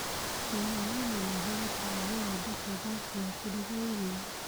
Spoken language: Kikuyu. Thumu wa ng'ombe nĩ ũhũthĩkaga gũthondeka ngasi ya kũruga irio.